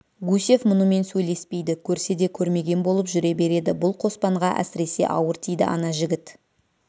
гусев мұнымен сөйлеспейді көрсе де көрмеген болып жүре береді бұл қоспанға әсіресе ауыр тиді ана жігіт